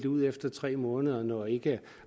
ud efter tre måneder når ikke